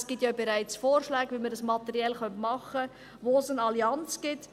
Es gibt ja bereits Vorschläge, wie man dies materiell machen könnte, wo es eine Allianz gibt.